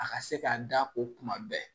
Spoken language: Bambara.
A ka se ka da o kuma bɛɛ